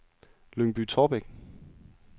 Lyngby-Taarbæk